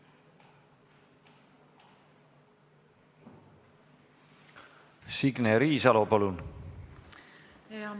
Signe Riisalo, palun!